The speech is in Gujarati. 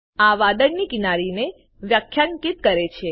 આ વાદળની કિનારીને વ્યાખ્યાયિત કરે છે